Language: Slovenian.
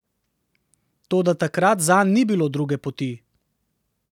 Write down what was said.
Toda takrat zanj ni bilo druge poti.